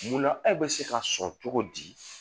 Munna aw bɛ se ka sɔrɔ cogo di